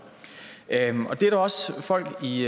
det er også folk i